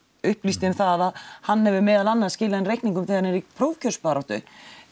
upplýsti um það að hann hefur meðal annars skilað inn reikningum þegar hann er í prófkjörsbaráttu